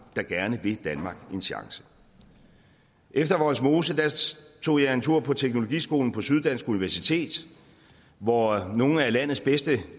der gerne vil danmark en chance efter vollsmose tog jeg en tur på teknologiskolen på syddansk universitet hvor nogle af landets bedste